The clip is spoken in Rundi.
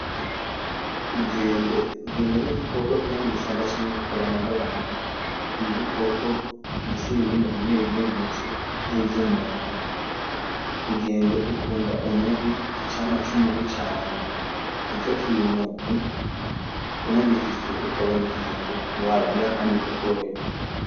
inkende, inkende nigikoko kiba mwishamba canke kikaba n'abantu, nigikoko gifise ibihimba bimwe bimwe bimeze nkivyumuntu ,Inkende ikunda umuhwi icamwa cumuhwi cane nico kintu unagifise ukabona inkende woyiha kandi ikaryoherwa